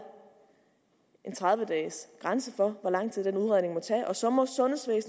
en tredive dages grænse for hvor lang tid den udredning må tage og så må